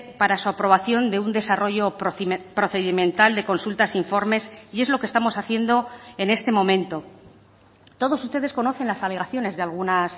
para su aprobación de un desarrollo procedimental de consultas informes y es lo que estamos haciendo en este momento todos ustedes conocen las alegaciones de algunas